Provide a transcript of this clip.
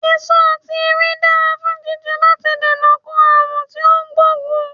Èso ati ewé dara fun jijẹ lati dènà ko aarun ti o gboogun